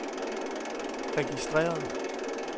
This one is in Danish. registreret